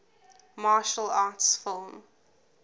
martial arts film